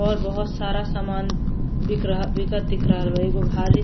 और बहुत सारा सामान बिक रहा बिकत दिख रहल बा। एगो भारी --